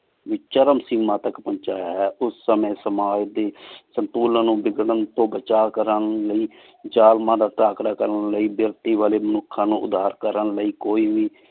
ਵੀ ਚਰਮ ਸੀਮਾ ਤਕ ਪੋੰਚਾਯਾ ਹੈ ਉਸ ਸੰਯ ਸਮਾਜ ਦੀ ਸੰਤੂਲਾਂ ਨੂ ਬਿਗ੍ਰਾਂ ਤੋ ਬਚਾ ਕਰਨ ਲੈ